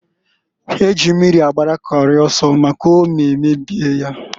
Eji mmiri agbara Kori oso, maka ome mebie nya.